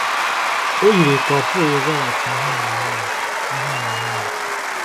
O yiri ka ọ̀ pụghị ịzaghachi ịhụnanya ya. ịhụnanya ya.